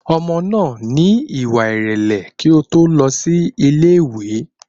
Ọmọ náà ní ìwà ìrẹ̀lẹ̀ kí ó tó lọ sí ilé ìwé